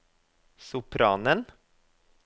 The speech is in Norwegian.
sopranen